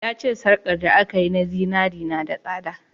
Ya ce sarka da aka yi da zinari na da tsada